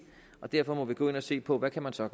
og derfor må vi gå ind og se på hvad man så